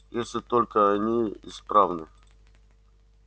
если только они исправны